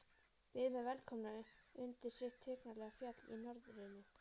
Byðu mig velkomna undir sitt tignarlega fjall í norðrinu.